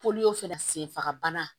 Poli fana senfagabana